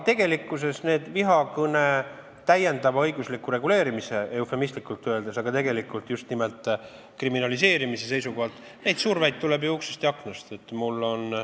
Seda survet vihakõne täiendava õigusliku reguleerimise, eufemistlikult öeldes, tegelikult aga just nimelt kriminaliseerimise seisukohalt tuleb ju uksest ja aknast.